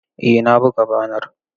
Eh na buga banar.